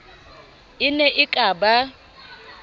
e ne e ka ba